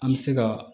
An bɛ se ka